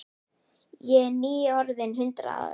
Ég er nýorðin hundrað ára.